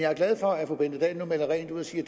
jo se